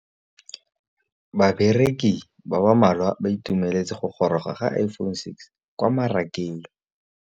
Bareki ba ba malwa ba ituemeletse go gôrôga ga Iphone6 kwa mmarakeng.